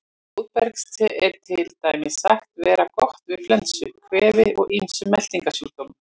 Blóðbergste er til dæmis sagt vera gott við flensu, kvefi og ýmsum meltingarsjúkdómum.